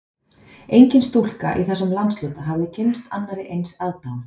Engin stúlka í þessum landshluta hafði kynnst annarri eins aðdáun